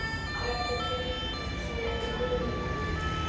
Þetta tikkar svo um munar!